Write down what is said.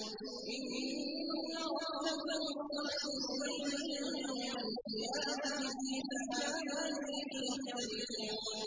إِنَّ رَبَّكَ هُوَ يَفْصِلُ بَيْنَهُمْ يَوْمَ الْقِيَامَةِ فِيمَا كَانُوا فِيهِ يَخْتَلِفُونَ